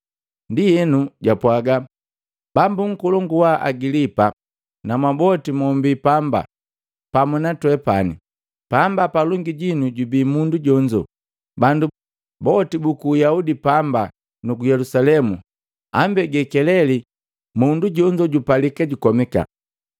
Ndienu japwaaga, “Bambu nkolongu wa Agilipa na mwaboti mombii pamba pamu na twepani! Pamba palongi jinu jubii mundu jonzo, bandu boti buku Uyaudi pamba nuku Yelusalemu ambege keleli mundu jonzo jupalika jukomika.